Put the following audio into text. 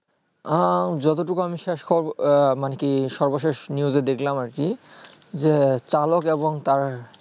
উম যত টুক আমি শেষ খবর আহ মানে কি সর্বশেষ news এ দেখলাম আর কি যে চালক এবং তার